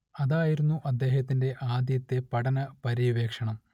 അതായിരുന്നു അദ്ദേഹത്തിന്റെ ആദ്യത്തെ പഠന പര്യവേക്ഷണം